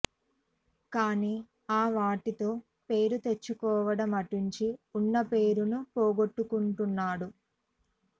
కానీ ఆ వాటితో పేరు తెచ్చుకోవడం అటుంచి ఉన్న పేరు ను పోగొట్టుకుంటున్నాడు